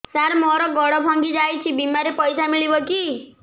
ସାର ମର ଗୋଡ ଭଙ୍ଗି ଯାଇ ଛି ବିମାରେ ପଇସା ମିଳିବ କି